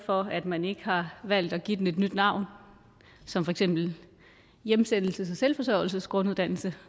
for at man ikke har valgt at give den et nyet navn som for eksempel hjemsendelses og selvforsørgelsesgrunduddannelse